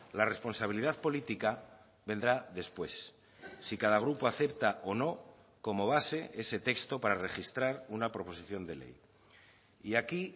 la responsabilidad política vendrá después si cada grupo acepta o no como base ese texto para registrar una proposición de ley y aquí